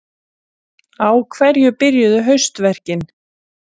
Vantar bara eitthvað bitastætt.